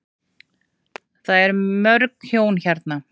Það er mörg hjón hérna.